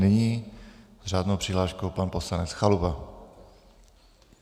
Nyní s řádnou přihláškou pan poslanec Chalupa.